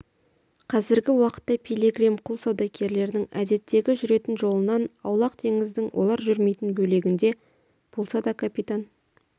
қазіргі уақытта пилигрим құл саудагерлерінің әдеттегі жүретін жолынан аулақ теңіздің олар жүрмейтін бөлегінде болса да капитан